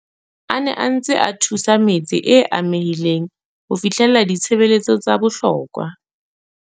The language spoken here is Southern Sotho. A ne a ntse a thusa metse e amehileng ho fihlella ditshebeletso tsa bohlokwa.